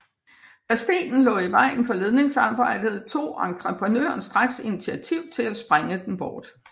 Da stenen lå i vejen for ledningsarbejdet tog entreprenøren straks initiativ til at sprænge den bort